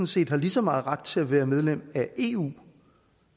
set har lige så meget ret til at være medlem af eu